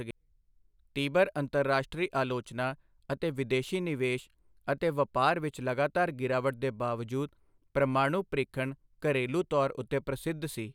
ਤੀਬਰ ਅੰਤਰਰਾਸ਼ਟਰੀ ਆਲੋਚਨਾ ਅਤੇ ਵਿਦੇਸ਼ੀ ਨਿਵੇਸ਼ ਅਤੇ ਵਪਾਰ ਵਿੱਚ ਲਗਾਤਾਰ ਗਿਰਾਵਟ ਦੇ ਬਾਵਜੂਦ, ਪ੍ਰਮਾਣੂ ਪ੍ਰੀਖਣ ਘਰੇਲੂ ਤੌਰ ਉੱਤੇ ਪ੍ਰਸਿੱਧ ਸੀ।